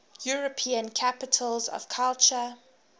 european capitals of culture